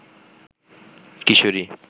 কিশোরী